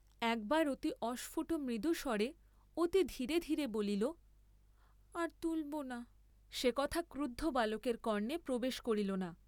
একবার অতি অস্ফুট মৃদুস্বরে, অতি ধীরে ধীরে বলিল, আর তুলব না; সে কথা ক্রুদ্ধ বালকের কর্ণে প্রবেশ করিল না।